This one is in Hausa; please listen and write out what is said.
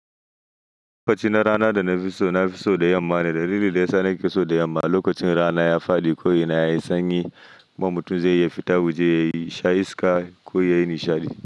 Lokacin rana da na fi so na fi so da yamma ne, dalili da ya sa na fi so da yamma lokacin rana ya faɗi ko yana sanyi, ba mutum zai iya fita waje yayi sha iska ko yayi nishaɗi.